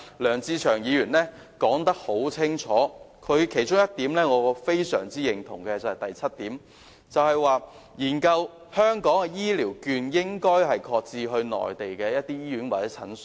梁志祥議員已解釋得很清楚，而我也非常認同原議案中第七項建議，亦即"研究將香港醫療券的應用範圍擴展至內地主要醫院及診所"。